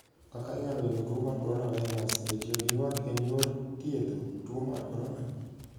Kaka inyalo geng'o tuo mar Corona Virus Be tiyo gi ywak en yor thiedho tuo mar corona?